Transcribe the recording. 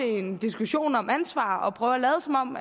i en diskussion om ansvar og prøver at lade som om